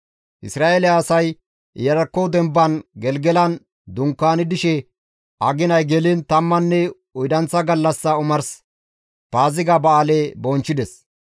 Isra7eele asay Iyarkko demban Gelgelan dunkaani dishe aginay geliin tammanne oydanththa gallassa omars Paaziga ba7aale bonchchides.